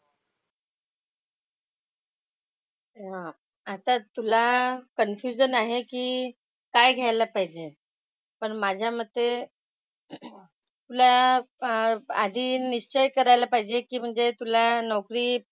हां. आता तुला कन्फ्युजन आहे की काय घ्यायला पाहिजे. पण माझ्या मते तुला आधी चेक करायला पाहिजे की म्हणजे तुला नोकरी,